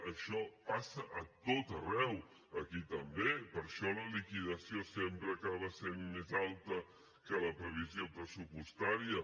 això passa a tot arreu aquí també per això la liquidació sempre acaba sent més alta que la previsió pressupostària